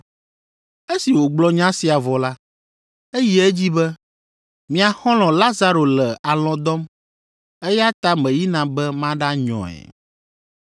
Esi wògblɔ nya sia vɔ la, eyi edzi be, “Mia xɔlɔ̃ Lazaro le alɔ̃ dɔm, eya ta meyina be maɖanyɔe.”